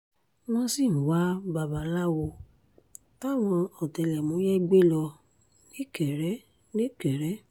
wọ́n sì ń wa babaláwo táwọn ọ̀tẹlẹ̀múyẹ́ gbé lọ nìkéré nìkéré